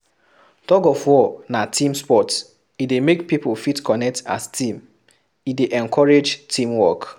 Thug of war na team sport, e dey make pipo fit connect as team, e dey encourage team work